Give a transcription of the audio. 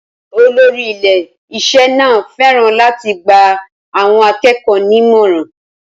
Olórí ilé-iṣẹ́ náà fẹ́ràn láti gba àwọn akẹ́kọ̀ọ́ ní ìmọ̀ràn.